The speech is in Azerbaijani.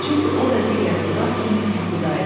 Çünki o da digər budaq kimi yuxuda idi.